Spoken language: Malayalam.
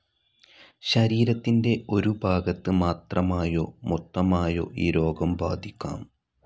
ശരീരത്തിൻ്റെ ഒരു ഭാഗത്ത് മാത്രമായോ മൊത്തമായോ ഈ രോഗം ബാധിക്കാം.